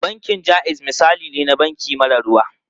Bankin Jaiz misali ne na banki mara ruwa.